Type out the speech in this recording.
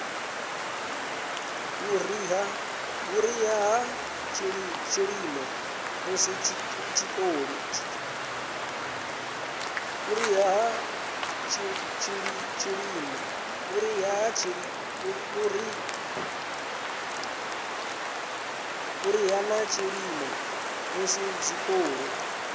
vhuriha na tshilimo musi zwikolo